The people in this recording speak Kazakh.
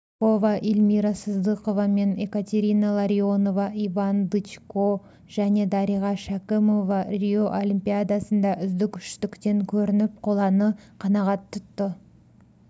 рыпакова эльмира сыздықоваменекатерина ларионова иван дычкожәнедариға шәкімова рио олимпиадасында үздік үштіктен көрініп қоланы қанағат тұтты